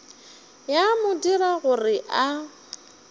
ya mo dira gore a